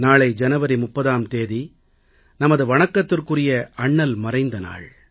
நாளை ஜனவரி 30ஆம் தேதி நமது வணக்கத்துக்குரிய அண்ணல் மறைந்த நாள்